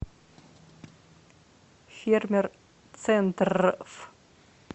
фермер центррф